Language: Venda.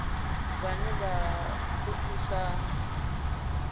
vhane vha o thusa u